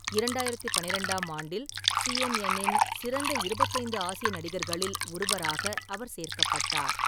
இரண்டாயிரத்தி பன்னிரெண்டாம் ஆண்டில் சிஎன்என் இன் "சிறந்த இருபத்தைந்து ஆசிய நடிகர்களில்" ஒருவராக அவர் சேர்க்கப்பட்டார்.